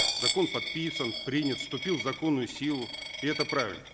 закон подписан принят вступил в законную силу и это правильно